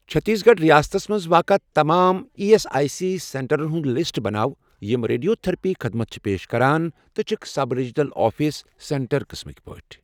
چٔھتیٖس گَڑھ رِیاستس مَنٛز واقعہٕ تمام ایی ایس آٮٔۍ سی سینٹرَن ہُنٛد لسٹ بناو یِم ریڈِیو تٔھرپی خدمت چھِ پیش کران تہٕ چھِکھ سب ریٖجنَل آفِس سینٹر قٕسمٕکۍ پٲٹھۍ